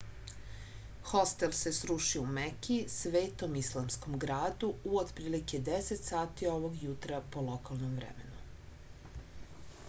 hostel se srušio u meki svetom islamskom gradu u otprilike 10 sati ovog jutra po lokalnom vremenu